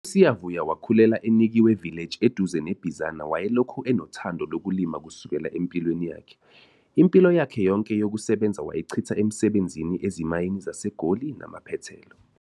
USiyavuya wakhulela eNikwe Village eduze neBizana wayelokhu enothando lokulima kusukela empilweni yakhe. Impilo yakhe yonke yokusebenza wayichitha esebenza ezimayini zaseGoli namaphethelo.